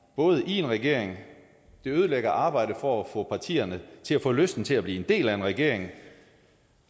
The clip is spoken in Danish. både i en regering det ødelægger arbejdet for at få partierne til at få lyst til at blive en del af en regering